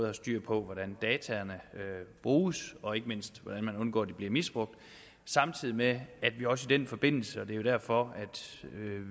har styr på hvordan dataene bruges og ikke mindst hvordan man undgår at de bliver misbrugt samtidig med at vi også i den forbindelse og det er derfor